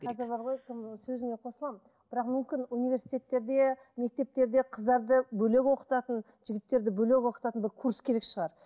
қазір бар ғой кім сөзіңе қосыламын бірақ мүмкін универститеттерде мектептерде қыздарды бөлек оқытатын жігіттерді бөлек оқытатын бір курс керек шығар